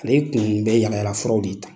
Ale kun bɛ yalayalafuraw de ta.